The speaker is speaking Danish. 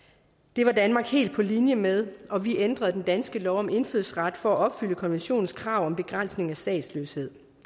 det var danmark helt på linje med og vi ændrede den danske lov om indfødsret for at opfylde konventionens krav om begrænsning af statsløshed